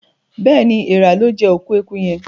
Béèni Èèrà lọ jé òkú ẹkú yén.